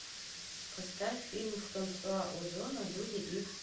поставь фильм франсуа озона люди икс